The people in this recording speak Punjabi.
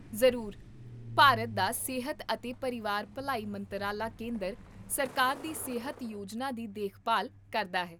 ਜ਼ਰੂਰ ਭਾਰਤ ਦਾ ਸਿਹਤ ਅਤੇ ਪਰਿਵਾਰ ਭਲਾਈ ਮੰਤਰਾਲਾ ਕੇਂਦਰ ਸਰਕਾਰ ਦੀ ਸਿਹਤ ਯੋਜਨਾ ਦੀ ਦੇਖਭਾਲ ਕਰਦਾ ਹੈ